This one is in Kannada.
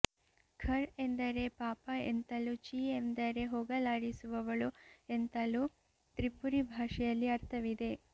ಖರ್ ಎಂದರೆ ಪಾಪ ಎಂತಲೂ ಚಿ ಎಂದರೆ ಹೋಗಲಾಡಿಸುವವಳು ಎಂತಲೂ ತ್ರಿಪುರಿ ಭಾಷೆಯಲ್ಲಿ ಅರ್ಥವಿದೆ